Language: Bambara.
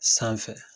Sanfɛ